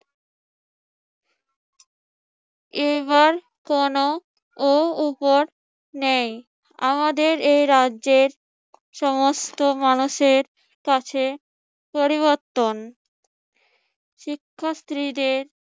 এবার কোনো ও উপর নেই। আমাদের এই রাজ্যের সমস্ত মানুষের কাছে পরিবর্তন শিক্ষার্থীদের